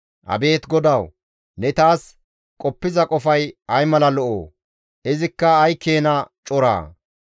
Abeet Xoossawu! Ne taas qoppiza qofay ay mala lo7oo! Izikka ay keena coraa!